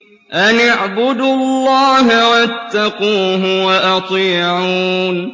أَنِ اعْبُدُوا اللَّهَ وَاتَّقُوهُ وَأَطِيعُونِ